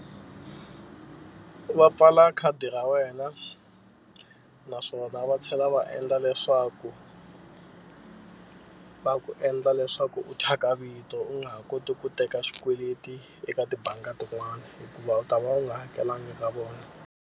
Va pfala khadi ra wena naswona va tlhela va endla leswaku va ku endla leswaku u thyaka vito u nga ha koti ku teka swikweleti eka tibangi tin'wani hikuva u ta va u nga hakelanga ka vona.